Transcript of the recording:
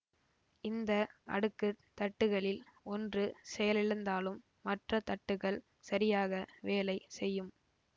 இந்த அடுக்கு தட்டுகளில் ஒன்று செயலிழந்தாலும் மற்ற தட்டுகள் சரியாக வேலை செய்யும்